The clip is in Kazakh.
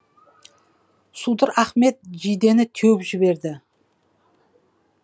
судыр ахмет жидені теуіп жіберді